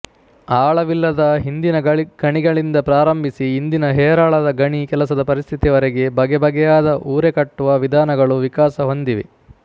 ಆಳವಿಲ್ಲದ ಹಿಂದಿನ ಗಣಿಗಳಿಂದ ಪ್ರಾರಂಭಿಸಿ ಇಂದಿನ ಹೇರಾಳದ ಗಣಿ ಕೆಲಸದ ಪರಿಸ್ಥಿತಿಯವರೆಗೆ ಬಗೆಬಗೆಯಾದ ಊರೆಕಟ್ಟುವ ವಿಧಾನಗಳು ವಿಕಾಸಹೊಂದಿವೆ